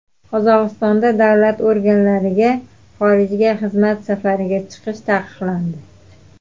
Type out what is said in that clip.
Qozog‘istonda davlat organlariga xorijga xizmat safariga chiqish taqiqlandi.